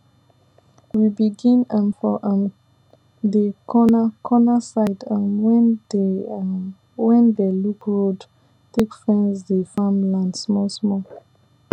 we begin um for um dey corna cona side um wen dey um wen dey look road take fence dey farm land small small